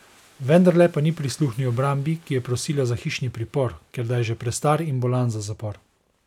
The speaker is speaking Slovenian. Vendarle pa ni prisluhnil obrambi, ki je prosila za hišni pripor, ker da je že prestar in bolan za zapor.